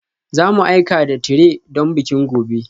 Za mu aika da tire don bikin gobe